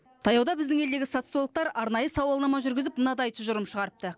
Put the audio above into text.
таяуда біздің елдегі социологтар арнайы сауалнама жүргізіп мынадай тұжырым шығарыпты